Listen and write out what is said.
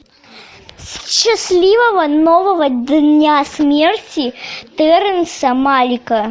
счастливого нового дня смерти терренса малика